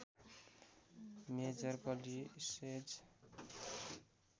major कलिसेज